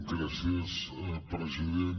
gràcies president